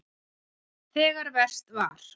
Þegar verst var.